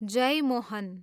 Jeyamohan